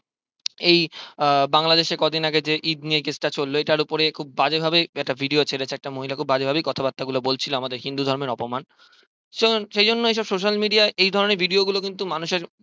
এই বাংলাদেশে কদিন আগে ঈদ নিয়ে যে case টা চললো তার উপরে খুব বাজে ভাবে একটা video ছেড়েছে একটা মহিলা খুব বাজে ভাবেই কথা বাত্রা গুলো বলছিলো আমাদের হিন্দু ধর্মের অপমান সেই জন্যই এই সব social media য় এই ধরণের video গুলো কিন্তু মানুষের